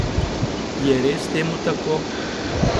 Je res temu tako?